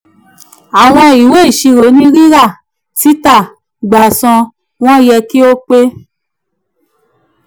àwọn ìwé iṣirò ni: rira tita gbà san wọ́n yẹ kí ó pé.